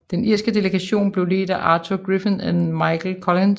Den irske delegation blev ledt af Arthur Griffith og Michael Collins